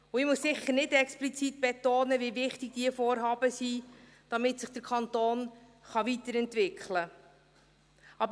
Ich muss sicher nicht explizit betonen, wie wichtig diese Vorhaben sind, damit sich der Kanton weiterentwickeln kann.